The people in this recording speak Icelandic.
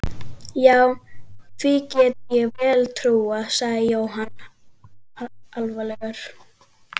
Já, því get ég vel trúað sagði Jóhann alvarlegur.